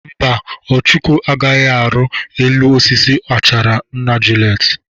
Mba, Ọchụko agaghị arụ elu osisi achara nna Juliet.